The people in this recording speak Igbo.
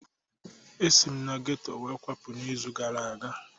Esi m na geto wee kwapụ n'izu gara aga.